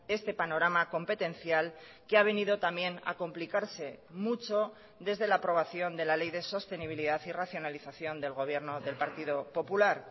este panorama competencial que ha venido también a complicarse mucho desde la aprobación de la ley de sostenibilidad y racionalización del gobierno del partido popular